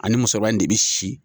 Ani musokɔrɔba in de bɛ si.